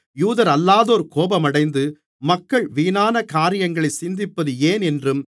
யூதரல்லாதோர் கோபமடைந்து மக்கள் வீணான காரியங்களைச் சிந்திப்பது ஏன் என்றும்